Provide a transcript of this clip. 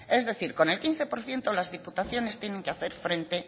es decir con el quince por ciento las diputaciones tienen que hacer frente